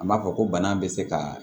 An b'a fɔ ko bana bɛ se ka